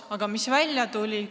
Aga mis välja tuli?